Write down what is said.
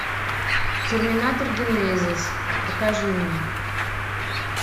терминатор генезис покажи мне